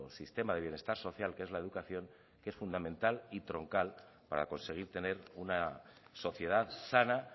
sistema de bienestar social que es la educación que es fundamental y troncal para conseguir tener una sociedad sana